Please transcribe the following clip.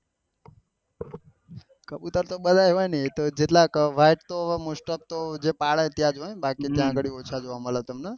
કબુતર તો બધા એવા ને એ તો white તો મોસ્ટ ઓફ તો તો જે પાડ હોય એમાં જ બાકી કાગળિયું જ જોવા મળે